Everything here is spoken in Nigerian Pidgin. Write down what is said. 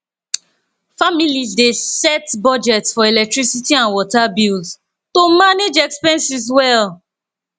families dey set budgets for electricity and water bills to manage expenses well